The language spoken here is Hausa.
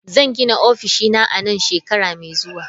Zan gina ofishina a nan shekara mai zuwa.